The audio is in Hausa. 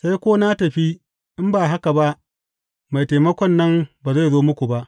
Sai ko na tafi, in ba haka ba Mai Taimakon nan ba zai zo muku ba.